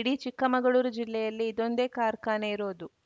ಇಡೀ ಚಿಕ್ಕಮಗಳೂರು ಜಿಲ್ಲೆಯಲ್ಲಿ ಇದೊಂದೇ ಕಾರ್ಖಾನೆ ಇರೋದು